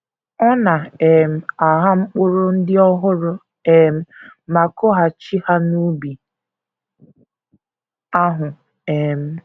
Ọ na - um agha mkpụrụ ndị ọhụrụ um ma kụghachi ha n’ubi ahụ um.